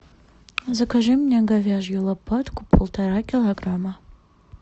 закажи мне говяжью лопатку полтора килограмма